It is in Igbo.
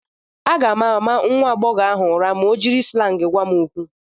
M ga-ama nwa agbọghọ ahụ ụra ma o jiri slangị gwa m okwu.